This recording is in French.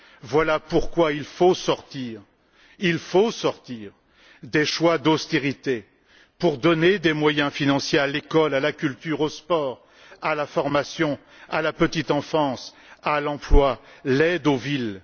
Voilà pourquoi il faut sortir des choix d'austérité pour donner des moyens financiers à l'école, à la culture, au sport, à la formation, à la petite enfance, à l'emploi et à l'aide aux villes.